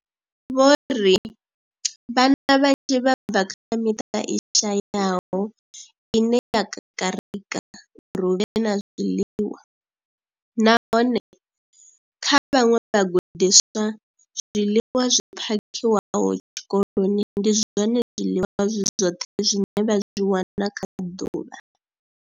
Vho ri, Vhana vhanzhi vha bva kha miṱa i shayaho ine ya kakarika uri hu vhe na zwiḽiwa, nahone kha vhaṅwe vhagudiswa, zwiḽiwa zwi phakhiwaho tshikoloni ndi zwone zwiḽiwa zwi zwoṱhe zwine vha zwi wana kha ḓuvha.